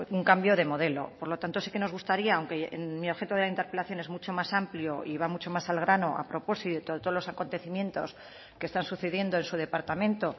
un cambio de modelo por lo tanto sí que nos gustaría aunque mi objeto de la interpelación es mucho más amplio y va mucho más al grano a propósito de todos los acontecimientos que están sucediendo en su departamento